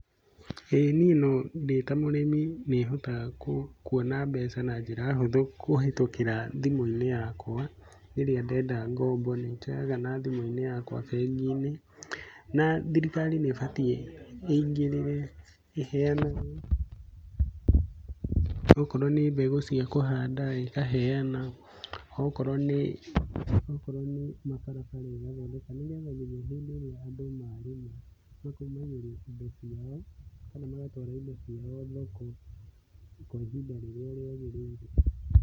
ĩĩ niĩ no ndĩta mũrĩmi nĩ hotaga kuona mbeca na njĩra hũthũ kũhĩtukĩra thimũ-inĩ yakwa, rĩrĩa ndenda ngombo nĩ njoyaga na thimũ-ini yakwa bengi-inĩ . Na thirikari ni ĩbatiĩ ĩingĩrĩre ĩheanage, okorwo nĩ mbegũ cia kũhanda ikaheana, okorwo nĩ mabarabara ĩgathondeka. Nĩ getha mũno hindi ĩrĩa andũ marĩma makaumagĩria indo ciao kana magatwara indo ciao thoko kwa ihinda rĩrĩa rĩagĩrĩire.